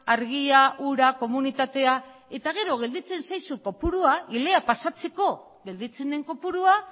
argia ura komunitatea eta gero gelditzen zaizu kopurua hilea pasatzeko gelditzen den kopurua